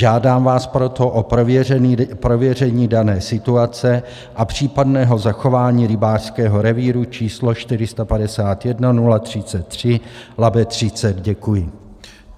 Žádám vás proto o prověření dané situace a případného zachování rybářského revíru č. 451033 Labe 30. Děkuji.